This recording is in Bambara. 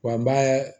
Wa n b'a